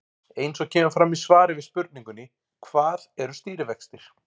Eins og kemur fram í svari við spurningunni Hvað eru stýrivextir?